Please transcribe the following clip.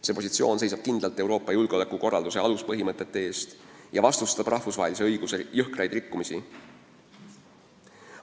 Euroopa Liit seisab kindlalt Euroopa julgeolekukorralduse aluspõhimõtete eest ja vastustab rahvusvahelise õiguse jõhkrat rikkumist.